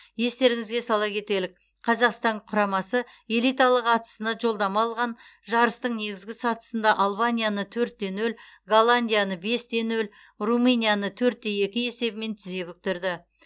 естеріңізге сала кетелік қазақстан құрамасы элиталық атысына жолдама алған жарыстың негізгі сатысында албанияны төрт те нөл голландияны бес те нөл румынияны төрт те екі есебімен тізе бүктірді